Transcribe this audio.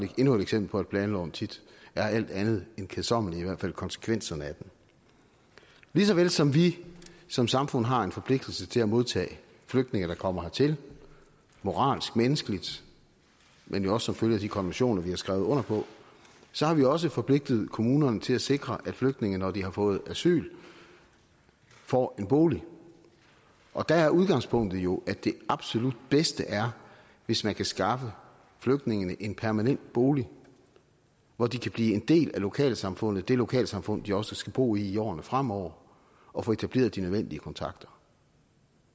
endnu et eksempel på at planloven tit er alt andet end kedsommelig i hvert fald ikke konsekvenserne af den lige så vel som vi som samfund har en forpligtelse til at modtage flygtninge der kommer hertil moralsk og menneskeligt men jo også som følge af de konventioner vi har skrevet under på så har vi også forpligtet kommunerne til at sikre at flygtninge når de har fået asyl får en bolig og der er udgangspunktet jo at det absolut bedste er hvis man kan skaffe flygtningene en permanent bolig hvor de kan blive en del af lokalsamfundet det lokalsamfund de også skal bo i i årene fremover og få etableret de nødvendige kontakter